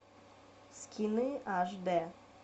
скины аш дэ